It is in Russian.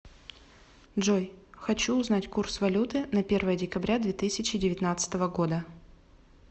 джой хочу узнать курс валюты на первое декабря две тысячи девятнадцатого года